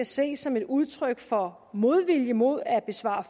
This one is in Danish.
ses som et udtryk for modvilje mod at besvare